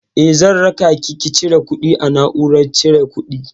Eh, zan rakaki ki cire kuɗi a na'urar cire kuɗi.